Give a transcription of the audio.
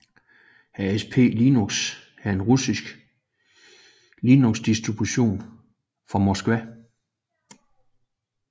ASP Linux er en russisk Linuxdistribution fra Moskva